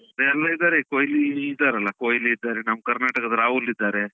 ಎಲ್ಲ ಇದ್ದಾರೆ ಕೋಹ್ಲಿ ಇದ್ದಾರಲ್ಲ, ಕೋಹ್ಲಿ ಇದ್ದಾರೆ, ನಮ್ಮ ಕರ್ನಾಟಕದ ರಾಹುಲ್ ಇದ್ದಾರೆ.